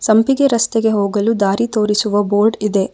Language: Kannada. ಸಂಪಿಗೆ ರಸ್ತೆಗೆ ಹೋಗಲು ದಾರಿ ತೋರಿಸುವ ಬೋರ್ಡ್ ಇದೆ.